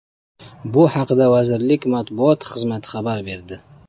Bu haqida vazirlik matbuot xizmati xabar berdi .